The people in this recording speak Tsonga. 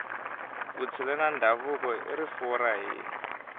vutshila na ndhavuko i rifuwo ra hina